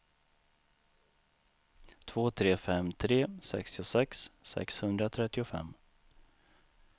två tre fem tre sextiosex sexhundratrettiofem